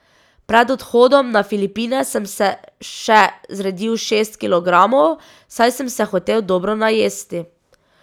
Pred odhodom na Filipine sem se še zredil šest kilogramov, saj sem se hotel dobro najesti.